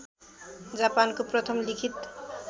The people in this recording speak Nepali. जापानको प्रथम लिखित